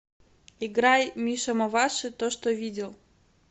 играй миша маваши то что видел